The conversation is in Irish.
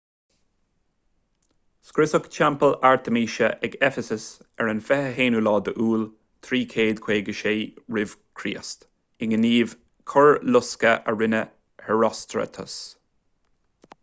scriosadh teampall artaimíse ag eifeasas ar an 21 iúil 356 r.ch i ngníomh coirlosctha a rinne herostratus